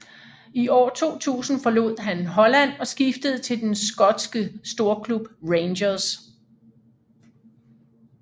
I år 2000 forlod han Holland og skiftede til den skoske storklub Rangers